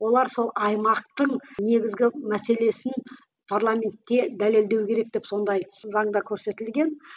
олар сол аймақтың негізгі мәселесін парламентте дәлелдеу керек деп сондай заңда көрсетілген